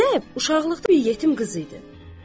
Zeynəb uşaqlıqda bir yetim qız idi.